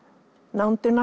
nándina